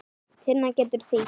Tinna getur þýtt